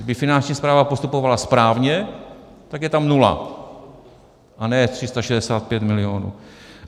Kdyby Finanční správa postupovala správně, tak je tam nula, a ne 365 milionů.